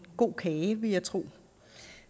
god kage vil jeg tro